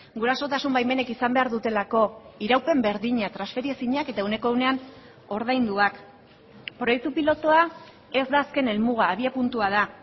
gurasotasun baimenek izan behar dutelako iraupen berdina transferi ezinak eta ehuneko ehunean ordainduak proiektu pilotua ez da azken helmuga abiapuntua da